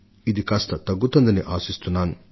కొంతయినా ఉపశమనం లభిస్తుందని మనం భావిస్తున్నాం